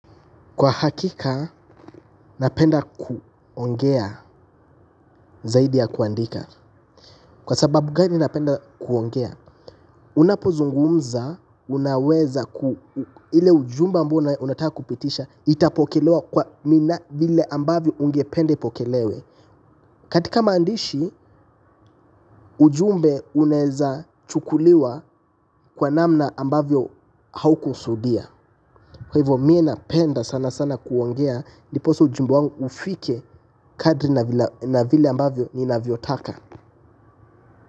Kwa hakika, napenda kuongea zaidi ya kuandika. Kwa sababu gani napenda kuongea, unapozungumza, unaweza, ile ujumbe ambao unataka kupitisha, itapokelewa kwa mina vile ambavyo ungependa ipokelewe. Katika maandishi ujumbe unawezachukuliwa kwa namna ambayo haukukusudia kwa hivyo mie napenda sana sana kuongea ndipoaa ujumbe wangu ufike kadri na vile ambavyo ninavyotaka.